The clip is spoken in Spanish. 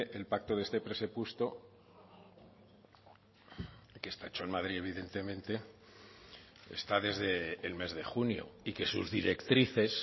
el pacto de este presupuesto que está hecho en madrid evidentemente está desde el mes de junio y que sus directrices